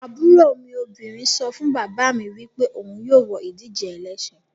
Aburo mi obinrin so fun baba mi wipe ohun yoo wo idije elesin